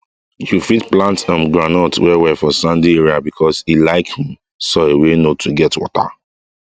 you fit plant um groundnut well well for sandy area because e like um soil wey no too get water